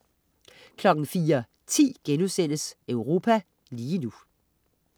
04.10 Europa lige nu*